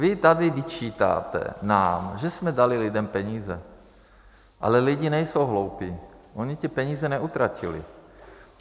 Vy tady vyčítáte nám, že jsme dali lidem peníze, ale lidi nejsou hloupí, oni ty peníze neutratili.